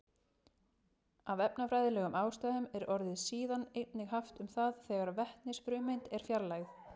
Af efnafræðilegum ástæðum er orðið síðan einnig haft um það þegar vetnisfrumeind er fjarlægð.